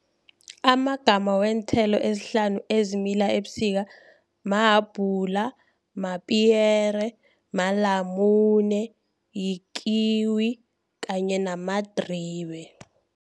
Amagama weenthelo ezihlanu ezimila ebusika mahabhula, mapiyere, malamune, yikiwi kanye namadribe.